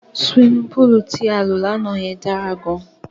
Siwimi póòlù tí lọ lánàá yẹn dára gan.